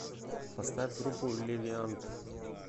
поставь группу левиант